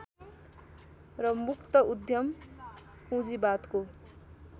र मुक्त उद्यम पूँजीवादको